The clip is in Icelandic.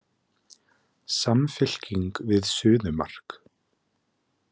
Samfylking við suðumark